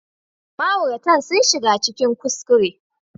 Ma'auratan sun shiga cikin kuskure